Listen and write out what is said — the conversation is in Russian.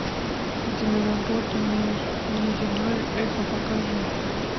киноработа внеземное эхо покажи